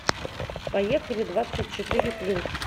поехали двадцать четыре плюс